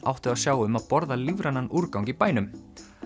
áttu að sjá um að borða lífrænan úrgang í bænum